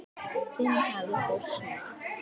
Þinn Halldór Snær.